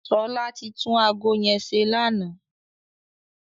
Ṣọlá ti tún ago yẹn ṣe lánàá.